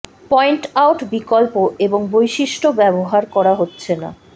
point out বিকল্প এবং বৈশিষ্ট্য ব্যবহার করা হচ্ছে না